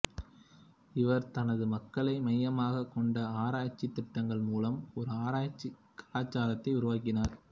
இவர் தனது மக்களை மையமாகக் கொண்ட ஆராய்ச்சித் திட்டங்கள் மூலம் ஒரு ஆராய்ச்சி கலாச்சாரத்தை உருவாக்கினார்